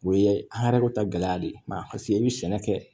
O ye an hɛrɛw ta gɛlɛya de ye ma paseke i bɛ sɛnɛ kɛ